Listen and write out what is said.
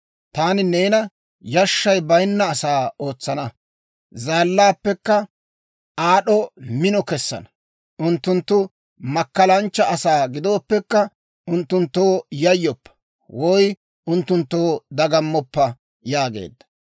Taani neena yashshay baynna asaa ootsana; zaallaappekka aad'd'o mino kesana. Unttunttu makkalanchcha asaa gidooppekka, unttunttoo yayyoppa; woy unttunttoo dagamoppa» yaageedda.